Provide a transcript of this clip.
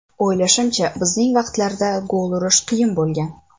O‘ylashimcha, bizning vaqtlarda gol urish qiyin bo‘lgan.